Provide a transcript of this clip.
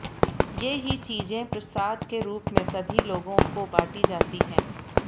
ये ही चीजें प्रसाद के रुप में सभी लेगों को बाँटी जाती हैं